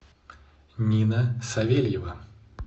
нина савельева